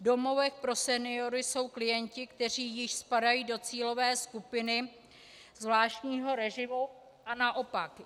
V domovech pro seniory jsou klienti, kteří již spadají do cílové skupiny zvláštního režimu, a naopak.